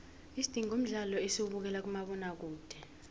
isidingo mdlalo esiwabekela kumabona kude